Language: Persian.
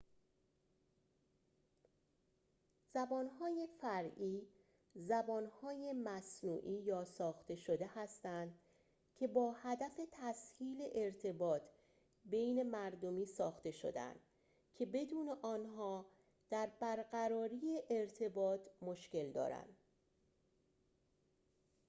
زبانهای فرعی زبانهای مصنوعی یا ساخته شده هستند که با هدف تسهیل ارتباط بین مردمی ساخته شده‌اند که بدون آنها در برقراری ارتباط مشکل دارند